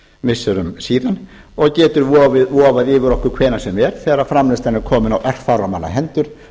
missirum síðan og getur vofað yfir okkur hvenær sem er þegar framleiðslan er komin á örfárra manna hendur